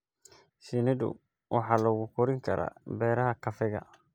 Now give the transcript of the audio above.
Shinnidu waxa lagu korin karaa beeraha kafeega.